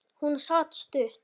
Hún sat stutt.